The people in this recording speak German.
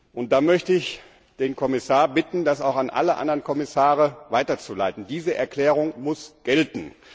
Und ich möchte den Kommissar bitten, sie auch an alle anderen Kommissare weiterzuleiten, denn diese Erklärung muss gelten!